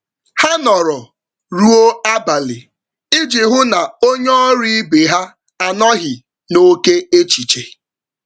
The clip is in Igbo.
Ha nọrọ ruo abalị iji hụ na onye ọrụ ibe ha anọghị n'ókè échichè